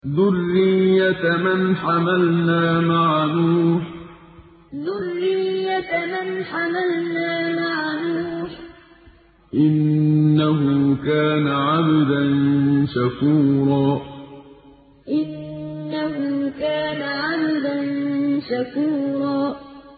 ذُرِّيَّةَ مَنْ حَمَلْنَا مَعَ نُوحٍ ۚ إِنَّهُ كَانَ عَبْدًا شَكُورًا ذُرِّيَّةَ مَنْ حَمَلْنَا مَعَ نُوحٍ ۚ إِنَّهُ كَانَ عَبْدًا شَكُورًا